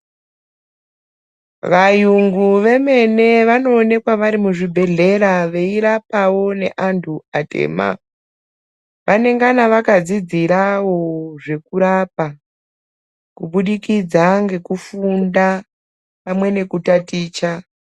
Vayungu vemene vanoonekwa vari kuzvibhedhlera veirapwawo neantu atema, vanengana vakadzidzirawo zvekurapa kubudikidza ngekufunda pamwe neku taticha.